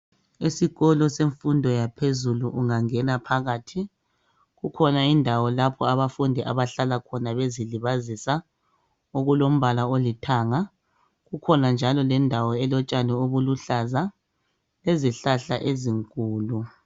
Esikolo semfundo yaphezulu ungangena phakathi, kukhona indawo lapho abafundi abahlala khona bezilibazisa, okulombala olithanga, kukhona njalo lendawo elotshani obuluhlaza, lezihlahla ezinkulu.